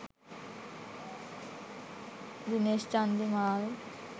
dinesh chandimal